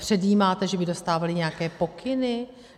Předjímáte, že by dostávali nějaké pokyny?